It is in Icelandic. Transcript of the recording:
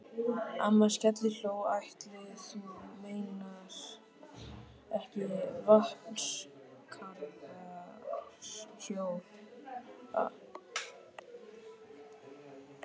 Amma skellihló: Ætli þú meinir ekki Vatnsskarðshóla?